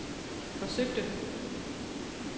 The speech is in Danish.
forsøgte